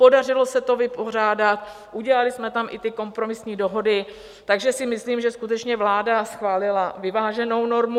Podařilo se to vypořádat, udělali jsme tam i ty kompromisní dohody, takže si myslím, že skutečně vláda schválila vyváženou normu.